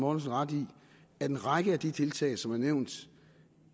ret i at en række af de tiltag som er nævnt